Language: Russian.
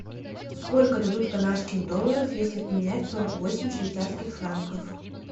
сколько дадут канадских долларов если поменять сорок восемь швейцарских франков